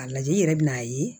A lajɛ i yɛrɛ bɛ n'a ye